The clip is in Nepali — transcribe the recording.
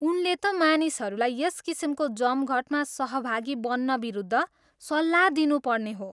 उनले त मानिसहरूलाई यस किसिमको जमघटमा सहभागी बन्नविरुद्ध सल्लाह दिनुपर्ने हो।